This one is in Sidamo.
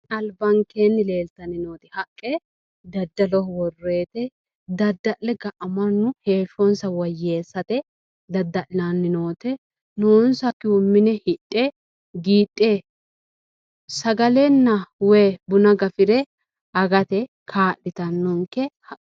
Albankeennni worroyiti haqqe daddaloho worroyite daddalle mannu ga"a heehsshosa woyyeessate daddallanni noote noonsakkihu hidhe mine qiidhe giidhe sagalenna woy buna gafire agate kaa'litannonke.